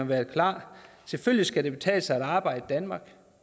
været klar selvfølgelig skal det kunne betale sig at arbejde i danmark